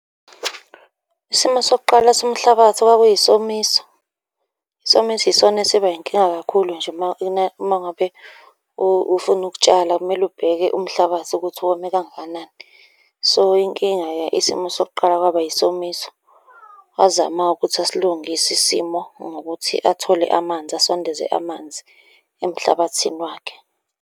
Isimo sokuqala somhlabathi kwakuyisomiso. Isomiso yisona esiba yinkinga kakhulu nje uma ngabe ufuna ukutshala, kumele ubheke umhlabathi ukuthi wome kangakanani. So, inkinga-ke isimo sokuqala kwaba yisomiso. Wazama-ke ukuthi asilungise isimo ngokuthi athole amanzi, asondeze amanzi emhlabathini wakhe.